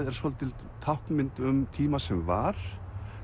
er svolítið táknmynd um tíma sem var